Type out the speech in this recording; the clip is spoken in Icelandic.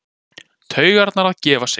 Taugarnar að gefa sig.